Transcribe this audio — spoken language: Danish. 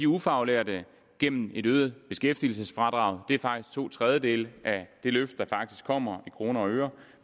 ufaglærte gennem et øget beskæftigelsesfradrag det er faktisk to tredjedele af det løft der kommer i kroner og øre